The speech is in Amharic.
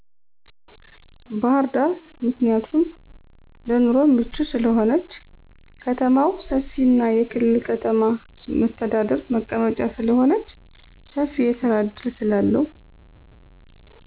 ባህርዳር ምክንያቱም ለኑሮ ምቹ ስለሆነች። ከማው ሰፊና የክልል ከተማ መሰተዳድር መቀመጫ ስለሆነች ሰፊ የስራ እድል ስላለው